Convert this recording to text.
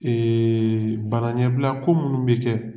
bana ɲɛbila ko minnu bɛ kɛ.